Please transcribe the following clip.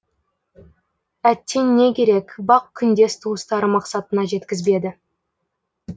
әттең не керек бақ күндес туыстары мақсатына жеткізбеді